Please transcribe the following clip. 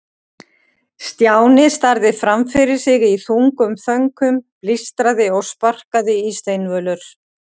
Stjáni starði fram fyrir sig í þungum þönkum, blístraði og sparkaði í steinvölur.